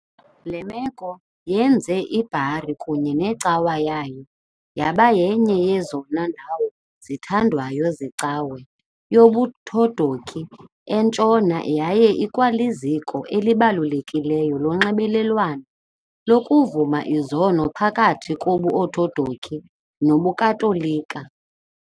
Le meko yenze iBari kunye necawa yayo yaba yenye yezona ndawo zithandwayo zeCawa yobuOthodoki eNtshona yaye ikwaliziko elibalulekileyo lonxibelelwano lokuvuma izono phakathi kobuOthodoki nobuKatolika .